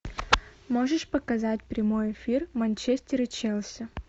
можешь показать прямой эфир манчестер и челси